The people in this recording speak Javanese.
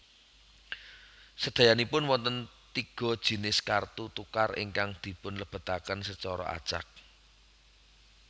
Sèdayanipun wonten tiga jinis kartu tukar ingkang dipunlebetaken secara acak